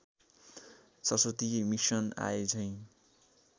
सरस्वती मिसिन आएझैँ